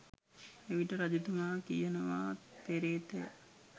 එවිට රජතුමා කියනවා පේ්‍රතය